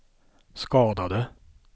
skadade